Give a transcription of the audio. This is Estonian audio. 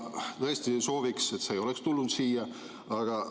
Ja ma tõesti sooviksin, et see ei oleks tulnud siia.